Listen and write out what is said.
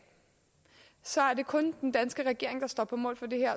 så er det kun den danske regering der står på mål for det her